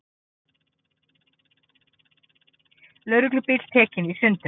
Lögreglubíll tekinn í sundur